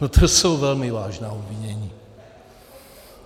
No to jsou velmi vážná obvinění.